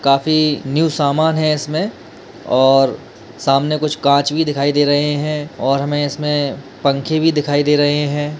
काफी न्यू सामान है इसमें और सामने कुछ काँच भी दिखाई दे रहे हैं और हमे इसमें पंखे भी दिखाई दे रहे हैं |